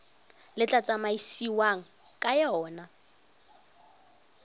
le tla tsamaisiwang ka yona